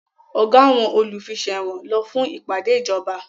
Ọ̀gá àwọn olùfiṣẹ̀wọ̀n lọ fún ìpàdé ìjọba